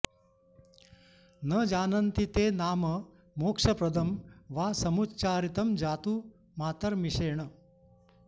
न जानन्ति ते नाम मोक्षप्रदं वा समुच्चारितं जातु मातर्मिषेण